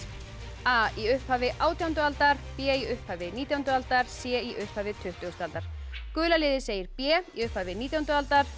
a í upphafi átjándu aldar b í upphafi nítjándu aldar c í upphafi tuttugustu aldar gula liðið segir b í upphafi nítjándu aldar